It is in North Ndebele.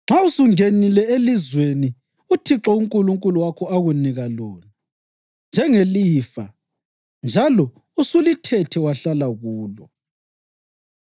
“Nxa usungenile elizweni uThixo uNkulunkulu wakho akunika lona njengelifa njalo usulithethe wahlala kulo